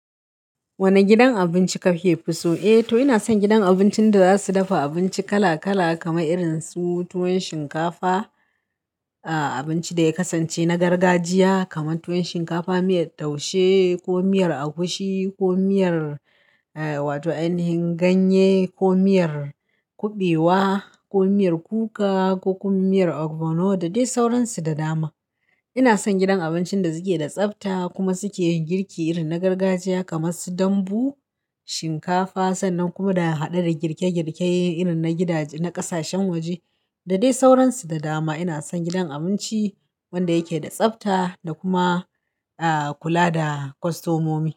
Wane gidan abinci kake so? Eh to ina son gidan abincin da za su dafa abinci kala kala kamar irin su tuwon shinkafa, a abinci da ya kasance na gargajiya kamar tuwon shinkafa, miyar taushe ko miyar agushi ko miyar eh wato an yi ganye, ko miyar kuɓewa, ko miyar kuka, ko kuma miyar ogbono da dai sauransu da dama. Ina son gidan abincin da suke da tsafta kuma suke girki irin na gargajiya kamar su dambu, shinkafa sannan kuma da hade da girke girkeyen irin na gidaje na ƙasashen waje da dai sauransu da dama. Ina son gidan abinci wanda yake da tsafta da kuma a kula da kostomomi.